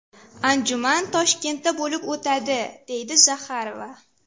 Anjuman Toshkentda bo‘lib o‘tadi”, deydi Zaxarova.